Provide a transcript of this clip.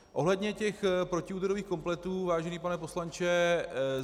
Ohledně těch protiúderových kompletů, vážený pane poslanče.